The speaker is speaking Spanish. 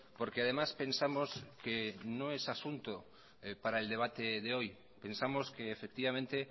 porque además pensamos que no es asunto para el debate de hoy pensamos que efectivamente